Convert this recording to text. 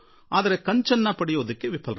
ಆದರೆ ಕಂಚಿನ ಪದಕ ಗಳಿಸಲು ಆಗಲಿಲ್ಲ